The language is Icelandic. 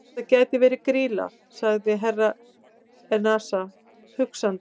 Þetta gæti verið Grýla, sagði Herra Enzana hugsandi.